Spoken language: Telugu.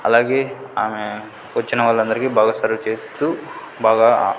అలాగే ఆమె వచ్చిన వాళ్ళందరికీ బాగా సర్వ్ చేస్తూ బాగా.